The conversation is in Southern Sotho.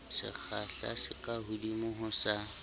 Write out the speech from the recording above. sekgahla se kahodimo ho sa